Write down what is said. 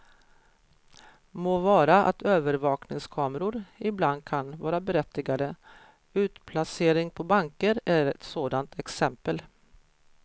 Må vara att övervakningskameror ibland kan vara berättigade, utplacering på banker är ett sådant exempel.